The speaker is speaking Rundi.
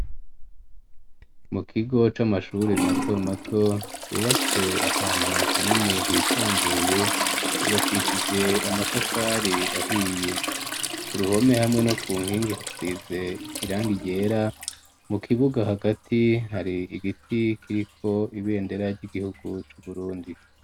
Mu kigo c'amashure mato mato, cubatse ahantu hanini hisanzuye, cubakishije amatafari ahiye, ku ruhome hamwe no ku nkingi hasize irangi ryera, mu kibuga hagati hari igiti kiriko ibendera ry'igihugu c'Uburundi.